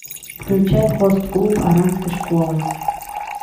включай хост клуб оранской школы